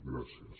gràcies